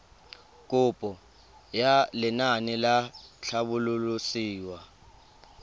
kopo ya lenaane la tlhabololosewa